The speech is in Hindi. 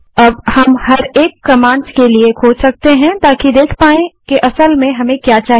अब हम प्रत्येक कमांड्स खोज सकते हैं ताकि देख पाएँ कि असल में हमें क्या चाहिए